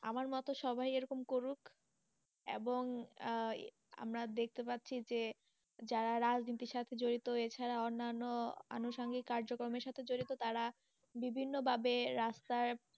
আমার মতো সবাই এই রকম করুক এবং আহ আমরা দেখতে পাচ্ছি যে যারা রাজনীতি সাথে জড়িত এছাড়া অন্যান আনুসাঙ্গিক কার্যকর্মের সাথে যুক্ত তারা বিভিন্ন ভাবে রাস্তায়,